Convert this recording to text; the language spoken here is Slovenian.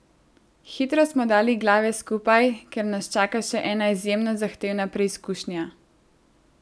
Hitro smo dali glave skupaj, ker nas čaka še ena izjemno zahtevna preizkušnja.